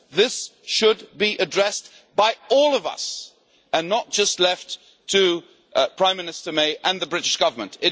This should be addressed by all of us and not just left to Prime Minister May and the British Government.